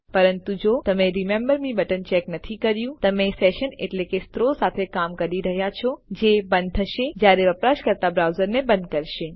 પરંતુ જો તમે રિમેમ્બર મે બટન ચેક નથી કર્યું તમે સેશન એટલે કે સત્રો સાથે કામ કરી રહ્યા છો જે બંધ થશે જયારે વપરાશકર્તા બ્રાઉઝરને બંધ કરશે